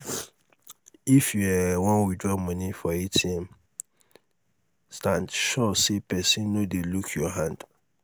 if you um wan withdraw money for atm stand sure say pesin no dey look your hand